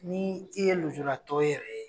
Ni i ye lujuratɔ yɛrɛ ye.